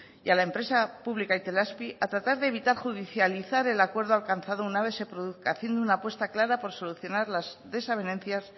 y a la empresa pública itelazpi a tratar de evitar judicializar el acuerdo alcanzado una vez se produzca haciendo una apuesta clara por solucionar las desavenencias